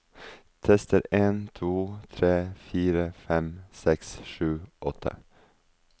Tester en to tre fire fem seks sju åtte